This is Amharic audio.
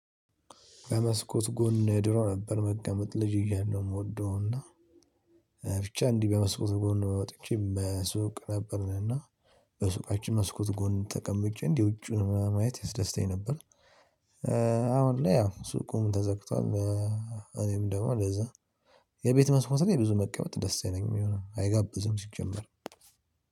በመስኮት ጎን ድሮ ነበር መቀመጥ ልጅ እያለው የምወደው እና ብቻ እንዲህ በመስኮት ጎን ነው። ወጥቼ በሱቅ ነበርን እና በሱቃችን መስኮት ጎን ተቀምጬ እንዲህ ውጪውን ማየት ያስደስተኝ ነበር። አሁን ላይ ያው ሱቁም ተዘግቷል። እኔም ደግሞ ለዛ የቤት መስመሮች ጋር ብዙ መቀመጥ ደስ አይለኝምየ አይጋብዝም ሲጀመር